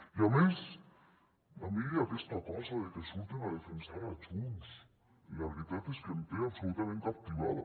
i a més a mi aquesta cosa de que surten a defensar a junts la veritat és que em té absolutament captivada